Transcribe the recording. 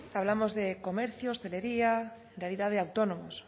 hablamos de comercio hostelería en realidad de autónomos